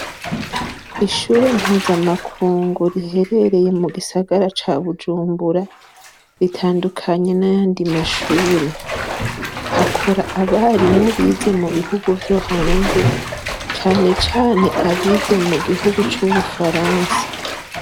Ishure Mpuzamakuru riherereye mugisagara ca Bujumbura, ritandukanye n'ayandi mashure hakora abarimu bize mubihugu vyohanze, cane cane abize mu gihugu c'ubufaransa.